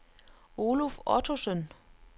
Oluf Ottosen